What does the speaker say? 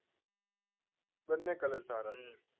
બંને કલર સારા છે